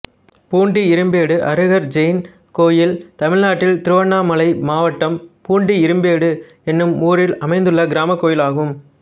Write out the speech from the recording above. பூண்டி இரும்பேடு அருகர் ஜெயின் கோயில் தமிழ்நாட்டில் திருவண்ணாமலை மாவட்டம் பூண்டி இரும்பேடு என்னும் ஊரில் அமைந்துள்ள கிராமக் கோயிலாகும்